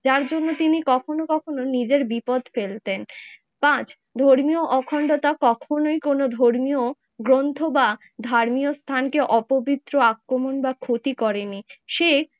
যার জন্য তিনি কখনো কখনো নিজের বিপদ ফেলতেন। পাঁচ ধর্মীয় অখণ্ডতা কখনোই কোনো গ্রন্থ বা ধর্মীয় স্থানকে অপবিত্র আক্রমণ বা ক্ষতি করেনি। সে